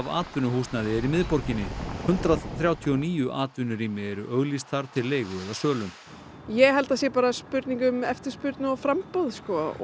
atvinnuhúsnæði í miðborginni hundrað þrjátíu og níu eru auglýst þar til leigu eða sölu ég held að það sé spurning um eftirspurn og framboð